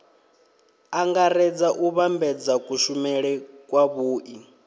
angaredza u vhambedza kushumele kwavhui